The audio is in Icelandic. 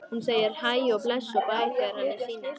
Hún segir hæ og bless og bæ þegar henni sýnist!